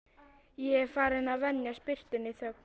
Ég er farinn að venjast birtunni og þögn